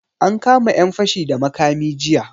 An kama yan fashi da makami jiya.